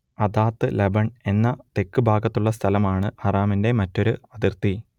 അദാത്ത് ലബൻ എന്ന തെക്ക് ഭാഗത്തുള്ള സ്ഥലമാണ് ഹറമിന്റെ മറ്റൊരു അതിർത്തി